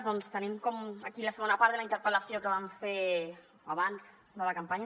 doncs tenim aquí la segona part de la interpel·lació que vam fer abans de la campanya